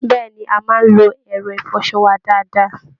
Bẹ́ẹ̀ ni, a máa ń lo ẹ̀rọ ìfọṣọ wa dáadáa